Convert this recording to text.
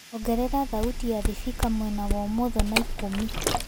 ongerera thaũtĩ ya thibika mwena wa umotho na ĩkũmĩ